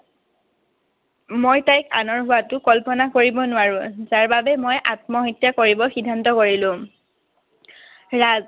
মই তাইক আনৰ হোৱাটো কল্পনা কৰিব নোৱাৰো। তাৰ বাবে মই আত্মহত্যা কৰিব সিদ্ধান্ত কৰিলো। ৰাজ,